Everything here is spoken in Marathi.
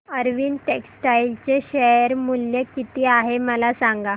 अरविंद टेक्स्टाइल चे शेअर मूल्य किती आहे मला सांगा